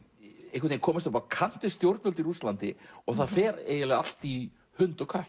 einhvern veginn komast upp á kant við stjórnvöld í Rússlandi og það fer eiginlega allt í hund og kött